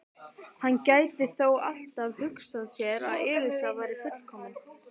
Hann gæti þó alltaf hugsað sér að Elísa væri fullkomin.